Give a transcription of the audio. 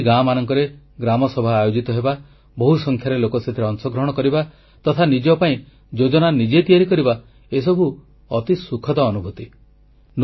ଏହି ଗାଁମାନଙ୍କରେ ଗ୍ରାମସଭା ଆୟୋଜିତ ହେବା ବହୁସଂଖ୍ୟାରେ ଲୋକ ସେଥିରେ ଅଂଶଗ୍ରହଣ କରିବା ତଥା ନିଜ ପାଇଁ ଯୋଜନା ନିଜେ ତିଆରି କରିବା ଏସବୁ ଅତି ସୁଖଦ ଅନୁଭୂତି